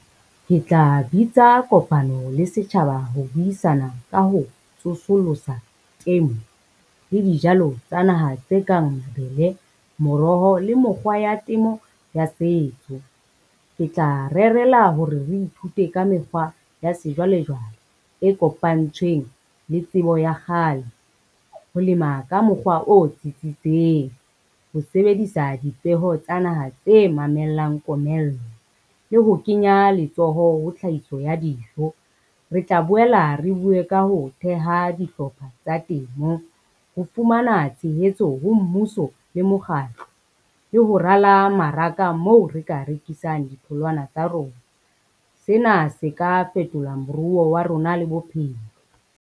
Ke tla bitsa kopano le setjhaba ho buisana ka ho tsosollosa temo le dijalo tsa naha tse kang mabele, moroho le mokgwa ya temo ya setso. Ke tla rerela hore re ithute ka mekgwa ya sejwalejwale e kopantsweng le tsebo ya kgale. Ho lema ka mokgwa o tsitsitseng, ho sebedisa dipeho tsa naha tse mamellang komello le ho kenya letsoho ho tlhahiso ya dijo. Re tla boela re bue ka ho theha dihlopha tsa temo ho fumana tshehetso ho mmuso le mokgatlo, le ho rala maraka moo re ka rekisang ditholwana tsa rona, sena se ka fetolwang moruo wa rona le bophelo.